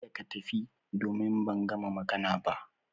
Kada ka tafi, domin ban gama magana ba